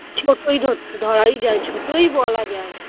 ছোটই ধরতে ধরাই যায় ছোটই বলা যায়